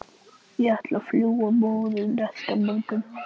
Ég ætlaði að fljúga norður næsta morgun.